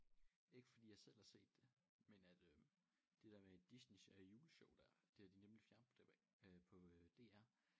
Ikke fordi jeg selv har set det men at øh det der med Disneys øh juleshow der det har de nemlig fjernet øh på DR